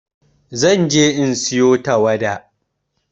Zan je in sayo tawada.